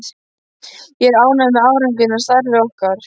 Ég er ánægður með árangurinn af starfi okkar.